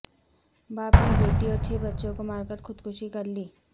باپ نے بیٹی اور چھ بچوں کو مار کر خودکشی کر لی